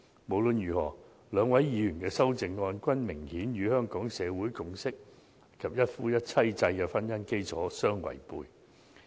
無論如何，兩位議員的修正案，均明顯與香港社會共識及一夫一妻制的婚姻基礎相違背。